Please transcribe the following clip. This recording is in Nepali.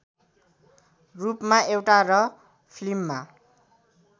रूपमा एउटा र फिल्ममा